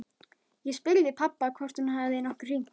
Ég spurði pabba hvort hún hefði nokkuð hringt.